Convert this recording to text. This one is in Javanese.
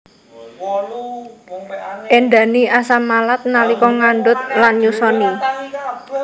Éndhani asam malat nalika ngandhut lan nyusoni